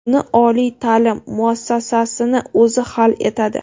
Uni oliy ta’lim muassasasini o‘zi hal etadi.